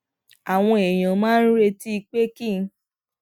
àwọn èèyàn máa ń retí pé kí n